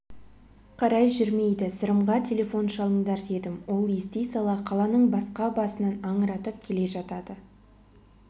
қарай жүрмейді сырымға телефон шалыңдар дедім ол ести сала қаланың басқа басынан аңыратып келе жатады